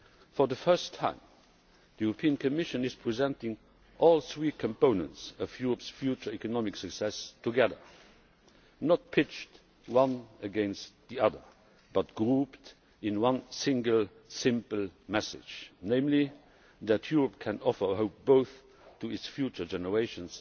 For the first time, the Commission is presenting all three components of Europe's future economic success together not pitched one against the other but grouped in one single simple message, namely that Europe can offer hope both to its future generations